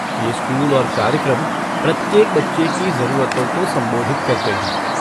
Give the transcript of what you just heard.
ये स्कूल और कार्यक्रम प्रत्येक बच्चे की ज़रूरतों को संबोधित करते हैं।